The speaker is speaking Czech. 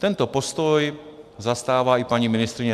Tento postoj zastává i paní ministryně.